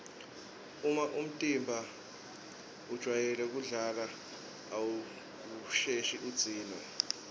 uma umtimba ujwayele kudlala awusheshi udzinwe